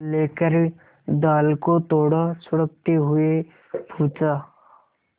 लेकर दाल को थोड़ा सुड़कते हुए पूछा